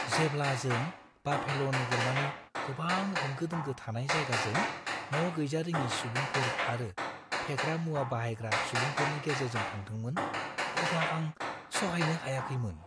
जेब्ला जों बाफेल' नोगोरमानि गोबां होंगो-दोंगो थानाय जायगाजों न' गैजारिङि सुबुंफोर आरो फेग्रा मुवा बाहायग्रा सुबुंफोरनि गेजेरजों थांदोंमोन अब्ला आं सहायनो हायाखैमोन।